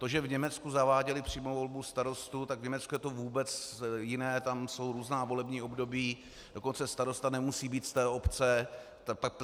To, že v Německu zaváděli přímou volbu starostů, tak v Německu je to vůbec jiné, tam jsou různá volební období, dokonce starosta nemusí být z té obce.